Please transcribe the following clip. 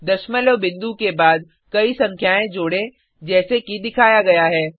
दशमलव बिंदु के बाद कई संख्याएँ जोडें जैसे कि दिखाया गया है